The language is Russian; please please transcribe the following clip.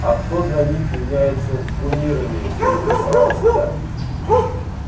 а кто для них является кумирами поинтересовался я